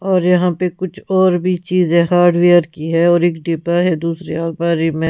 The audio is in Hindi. और यहां पे कुछ और भी चीज है हार्डवेयर की है और एक डिब्बा है दूसरी और बारी में--